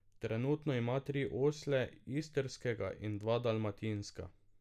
Trenutno ima tri osle, istrskega in dva dalmatinska.